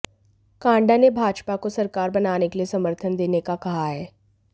कांडा ने भाजपा को सरकार बनाने के लिए समर्थन देने का कहा है